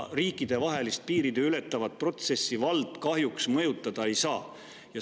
Riikidevahelist, piiri ületavat protsessi vald kahjuks mõjutada ei saa.